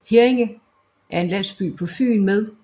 Herringe er en landsby på Fyn med